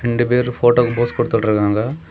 ரெண்டு பேரும் போட்டோக்கு போஸ் கொடுத்துட்டு இருக்காங்க.